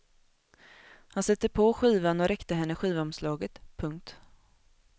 Han satte på skivan och räckte henne skivomslaget. punkt